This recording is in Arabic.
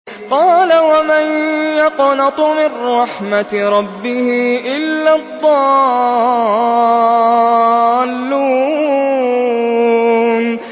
قَالَ وَمَن يَقْنَطُ مِن رَّحْمَةِ رَبِّهِ إِلَّا الضَّالُّونَ